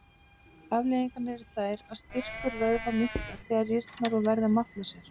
Afleiðingarnar eru þær að styrkur vöðva minnkar, þeir rýrna og verða máttlausir.